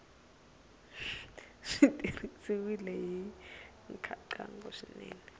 swi tirhisiwile hi nkhaqato swinene